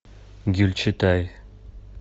гюльчатай